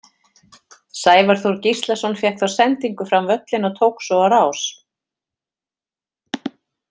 Sævar Þór Gíslason fékk þá sendingu fram völlinn og tók svo á rás.